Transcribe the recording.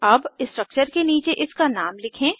अब स्ट्रक्चर के नीचे इसका नाम लिखें